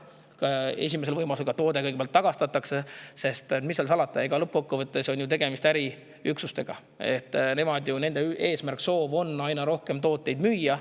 Siis esimesel võimalusel toode tagastatakse, sest mis seal salata, lõppkokkuvõttes on tegemist äriüksustega ja nende eesmärk, soov on aina rohkem tooteid müüa.